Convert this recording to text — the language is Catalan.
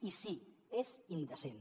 i sí és indecent